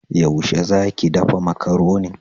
Yaushe za ki dafa Makaronin?